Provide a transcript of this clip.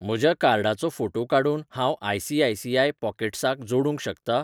म्हज्या कार्डाचो फोटो काडून हांव आय.सी.आय.सी.आय पॉकेट्साक जोडूंक शकतां?